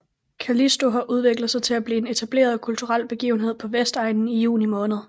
Callisto har udviklet sig til at blive en etableret kulturel begivenhed på Vestegnen i juni måned